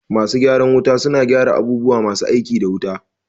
Masu gyaran wuta suna gyara abubuwa masu aiki da wuta